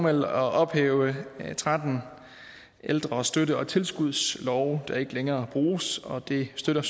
at ophæve tretten ældre støtte og tilskudslove der ikke længere bruges og det støtter